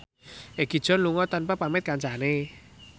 Egi John lunga tanpa pamit kancane